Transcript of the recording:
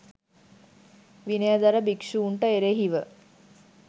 විනයධර භික්ෂුන්ට එරෙහිව